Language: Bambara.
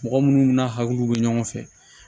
Mɔgɔ munnu n'a hakiliw bɛ ɲɔgɔn fɛ